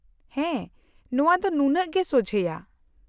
-ᱦᱮᱸ, ᱱᱚᱶᱟ ᱫᱚ ᱱᱩᱱᱟᱹᱜ ᱜᱮ ᱥᱳᱡᱷᱮᱭᱟ ᱾